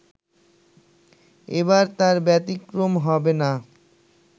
এবার তার ব্যতিক্রম হবে না